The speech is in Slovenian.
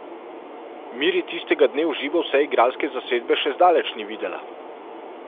Miri tistega dne v živo vse igralske zasedbe še zdaleč ni videla.